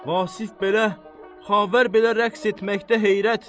Vasif belə, Xavər belə rəqs etməkdə heyrət.